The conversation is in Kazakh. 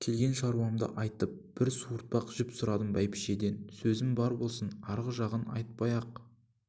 келген шаруамды айтып бір суыртпақ жіп сұрадым бәйбішеден сөзің бар болсын арғы жағын айтпай-ақ